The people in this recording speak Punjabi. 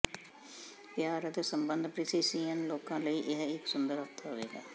ਪਿਆਰ ਅਤੇ ਸੰਬੰਧ ਪਿਸਸੀਅਨ ਲੋਕਾਂ ਲਈ ਇਹ ਇੱਕ ਸੁੰਦਰ ਹਫ਼ਤਾ ਹੋਵੇਗਾ